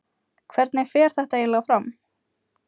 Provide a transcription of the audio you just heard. Hvernig fer þetta eiginlega fram?